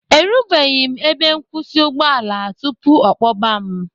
Erubeghị m ebe nkwụsị ụgbọala tupu ọ kpọba m.